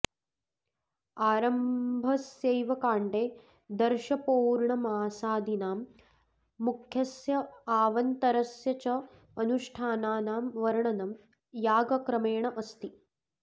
आरम्भस्यैव काण्डे दर्शपौर्णमासादीनां मुख्यस्य अवान्तरस्य च अनुष्ठानानां वर्णनं यागक्रमेण अस्ति